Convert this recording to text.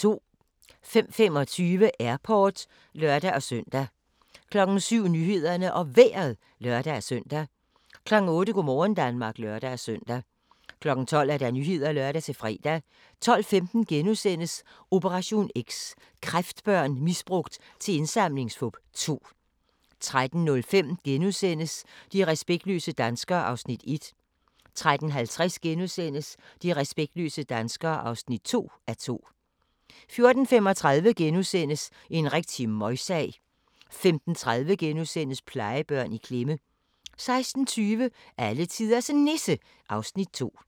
05:25: Airport (lør-søn) 07:00: Nyhederne og Vejret (lør-søn) 08:00: Go' morgen Danmark (lør-søn) 12:00: Nyhederne (lør-fre) 12:15: Operation X: Kræftbørn misbrugt til indsamlingsfup 2 * 13:05: De respektløse danskere (1:2)* 13:50: De respektløse danskere (2:2)* 14:35: En rigtig møgsag * 15:30: Plejebørn i klemme * 16:20: Alletiders Nisse (Afs. 2)